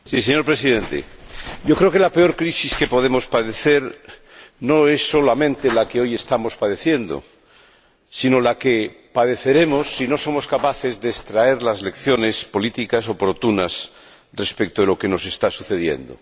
Señor Presidente, yo creo que la peor crisis que podemos padecer no es solamente la que hoy estamos padeciendo, sino la que padeceremos si no somos capaces de extraer las lecciones políticas oportunas respecto de lo que nos está sucediendo.